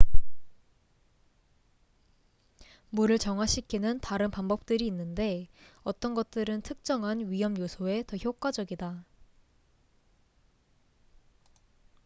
물을 정화시키는 다른 방법들이 있는데 어떤 것들은 특정한 위험요소에 더 효과적이다